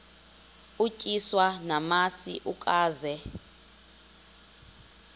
utyiswa namasi ukaze